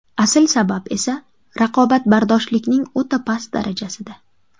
Asl sabab esa raqobatbardoshlikning o‘ta past darajasida.